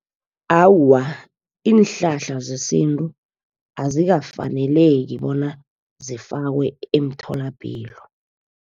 Awa, iinhlahla zesintu azikafaneleki bona zifakwe emtholapilo.